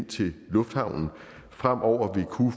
til lufthavnen fremover